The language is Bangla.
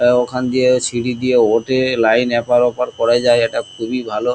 এ ওখান দিয়ে সিঁড়ি দিয়ে ওঠে লাইন এপার ওপার করা যায় এটা খুবই ভালো।